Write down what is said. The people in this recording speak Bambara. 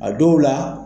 A dɔw la